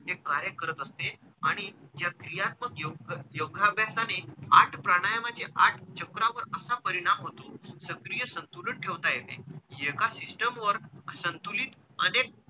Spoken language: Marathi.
जे कार्य करत असते आणि ज्या क्रियात्मक योग योगाभ्यासाने आठ प्राणायमाचे आठ चक्रावर असा परिणाम होतो सक्रिय संतुलन ठेवता येते. एका system वर संतुलित अनेक,